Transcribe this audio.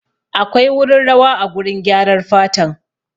Akwai wurin rawa a gurin gyarar fatan